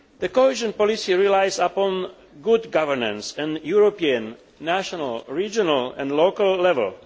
Cohesion policy relies upon good governance at European, national, regional and local level.